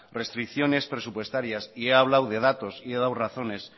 restricciones presupuestarias y he hablado de datos y he dado razones